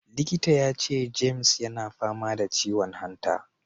Likita ya ce James yana fama da ciwon hanta.